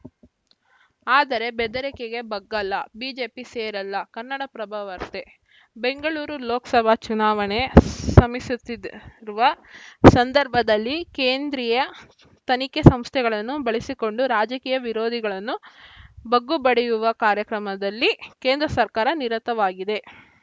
ಆದರೆ ಬೆದರಿಕೆಗೆ ಬಗ್ಗಲ್ಲ ಬಿಜೆಪಿ ಸೇರಲ್ಲ ಕನ್ನಡಪ್ರಭ ವಾರ್ತೆ ಬೆಂಗಳೂರು ಲೋಕಸಭೆ ಚುನಾವಣೆ ಸಮೀಸುತ್ತಿರುವ ಸಂದರ್ಭದಲ್ಲಿ ಕೇಂದ್ರೀಯ ತನಿಖೆ ಸಂಸ್ಥೆಗಳನ್ನು ಬಳಸಿಕೊಂಡು ರಾಜಕೀಯ ವಿರೋಧಿಗಳನ್ನು ಬಗ್ಗು ಬಡಿಯುವ ಕಾರ್ಯಕ್ರಮದಲ್ಲಿ ಕೇಂದ್ರ ಸರ್ಕಾರ ನಿರತವಾಗಿದೆ